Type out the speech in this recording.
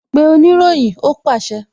Pe oniroyin! Ó pàṣẹ